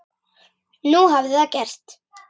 Nú hafði það gerst.